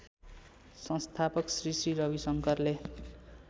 संस्थापक श्री श्री रविशंकरले